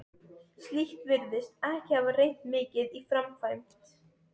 slíkt virðist ekki hafa reynt mikið í framkvæmd.